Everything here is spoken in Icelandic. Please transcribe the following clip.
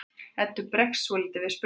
Eddu bregður svolítið við spurninguna.